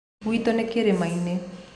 Gwĩtũ nĩ kĩrĩma-inĩ.